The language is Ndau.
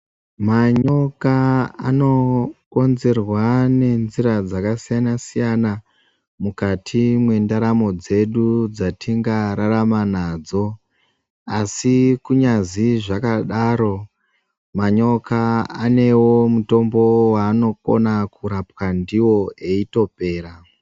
Manyoka anokonzerwa nenzira dzakasiyana siyana mukati mwendaramo dzedu dzatingararama nadzo, asi kunyazi zvakadaro manyoka anewo mutombo waanokona kurapwa ndiwo eitopera.